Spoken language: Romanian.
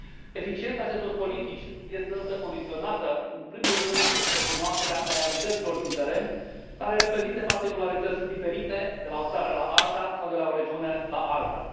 Eficiența acestor politici este însă condiționată în primul rând de cunoașterea realităților din teren care reprezintă particularități diferite de la o țară la alta sau de la o regiune la alta.